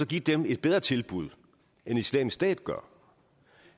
give dem et bedre tilbud end islamisk stat gør